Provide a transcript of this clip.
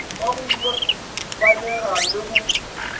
wa go balega le go